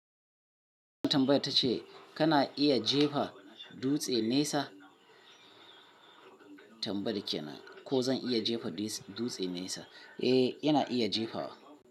Tambaya ta ce kana iya jefa dutse nesa? Tambayar kenan ko zan iya jefa dutse nesa? Eh, ina iya jefawa.